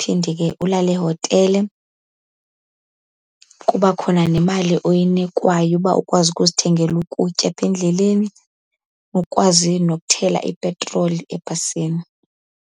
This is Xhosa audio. phinde ke ulale ehotele, kuba khona nemali oyinikwayo uba ukwazi ukuzithengela ukutya apha endleleni ukwazi nokuthela ipetroli ebhasini.